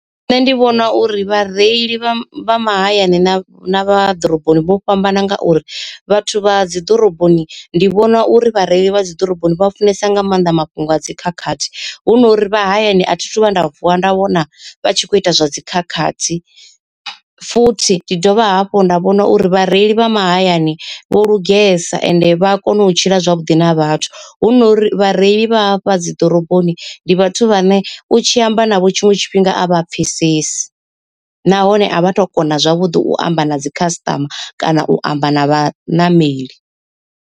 Nṋe ndi vhona uri vhareili vha mahayani na vha ḓoroboni vho fhambana ngauri, vhathu vha dzi ḓoroboni ndi vhona uri vhareili vha dzi ḓoroboni vha funesa nga maanḓa mafhungo a dzikhakhathi. Hu nori vha hayani a thi thu vhuya nda vuwa nda vhona vha tshi kho ita zwa dzikhakhathi. Futhi ndi dovha hafhu nda vhona uri vhareili vha mahayani vho lugesa ende vha a kona u tshila zwavhuḓi na vhathu, hu no uri vhareili vha hafha dzi ḓoroboni u tshi amba navho tshiṅwe tshifhinga a vha pfhesesi. Nahone a vha tu kona zwavhuḓi u amba na dzi khasiṱama kana u amba na vha ṋameli.